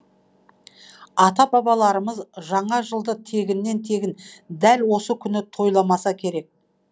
ата бабаларымыз жаңа жылды тегіннен тегін дәл осы күні тойламаса керек